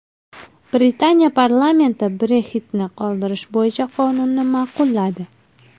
Britaniya parlamenti Brexit’ni qoldirish bo‘yicha qonunni ma’qulladi.